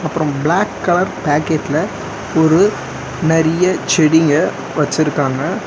அப்றம் black colour பேக்கெட்ல ஒரு நெறிய செடிங்க வச்சிருக்காங்க.